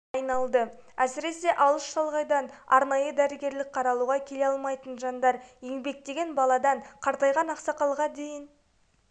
айналды әсіресе алыс шалғайдан арнайы дәрігерлік қаралуға келе алмайтын жандар еңбектеген баладан қартайған ақсақалға дейін